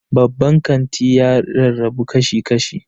Babban kanti ya rarrabu kashi-kashi.